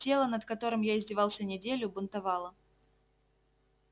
тело над которым я издевался неделю бунтовало